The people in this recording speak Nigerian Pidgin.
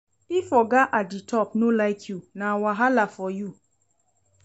If oga at di top no like you, na wahala for you.